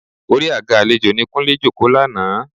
Orí àga àlejò ni Kúnlé jókòó lánàá